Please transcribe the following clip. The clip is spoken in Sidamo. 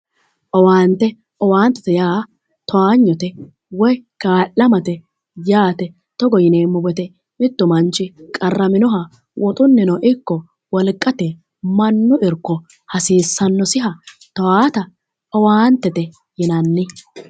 Owaante owaantette Yaa taagnote woy ka'alamatte yaate, togo yineemo woyite mitu manichi qaraminnoha woxunnino ikko mannu irikko hasiissanosiha towaata owaantette yinanni